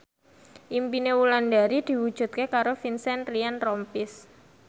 impine Wulandari diwujudke karo Vincent Ryan Rompies